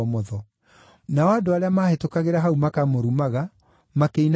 Nao andũ arĩa maahĩtũkagĩra hau makamũrumaga, makĩinagia mĩtwe yao,